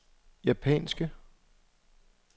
japanske